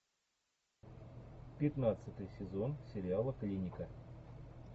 пятнадцатый сезон сериала клиника